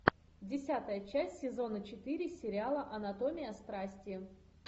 десятая часть сезона четыре сериала анатомия страсти